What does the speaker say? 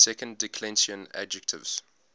second declension adjectives